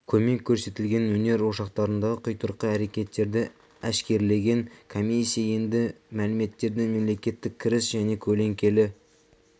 көмек көрсетілген өнер ошақтарындағы құйтырқы әрекеттерді әшкерелеген комиссия енді бұл мәліметтерді мемлекеттік кіріс және көлеңкелі